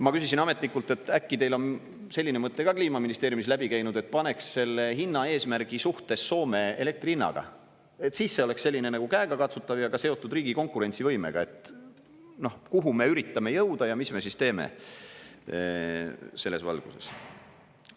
Ma küsisin ametnikult, et äkki teil on selline mõte ka Kliimaministeeriumis läbi käinud, et paneks selle hinna eesmärgi suhtes Soome elektri hinnaga, et siis see oleks selline nagu käegakatsutav ja ka seotud riigi konkurentsivõimega, et kuhu me üritame jõuda ja mis me siis teeme selles valguses.